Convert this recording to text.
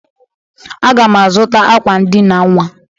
Aga m azụta akwa ndịna nnwa.